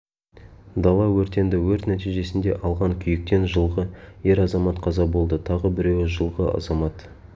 дала өртенді өрт нәтижесінде алған күйіктен жылғы ер азамат қаза болды тағы біреуі жылғы азамат